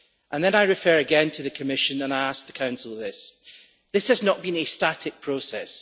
Then I refer again to the Commission and I ask the Council on this this has not been a static process.